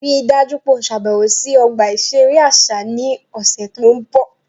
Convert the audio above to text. Rii daju pe o ṣabẹwo si ọgba iṣere aṣa ni ọsẹ to nbọ!